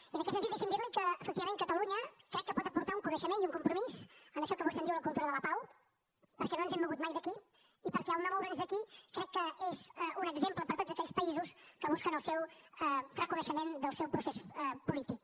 i en aquest sentit deixi’m dir li que efectivament catalunya crec que pot aportar un coneixement i un compromís en això que vostè en diu la cultura de la pau perquè no ens hem mogut mai d’aquí i perquè no moure’ns d’aquí crec que és un exemple per a tots aquells països que busquen el reconeixement del seu procés polític